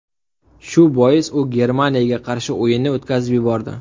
Shu bois u Germaniyaga qarshi o‘yinni o‘tkazib yubordi.